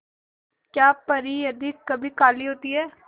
क्या परी यदि कभी काली होती है